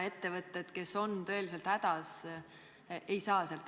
Ettevõtted, kes on tõeliselt hädas, ei saa abi.